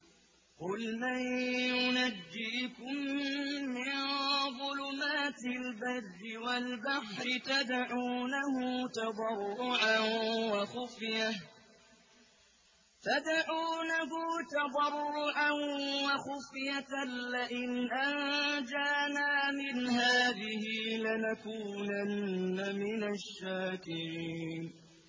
قُلْ مَن يُنَجِّيكُم مِّن ظُلُمَاتِ الْبَرِّ وَالْبَحْرِ تَدْعُونَهُ تَضَرُّعًا وَخُفْيَةً لَّئِنْ أَنجَانَا مِنْ هَٰذِهِ لَنَكُونَنَّ مِنَ الشَّاكِرِينَ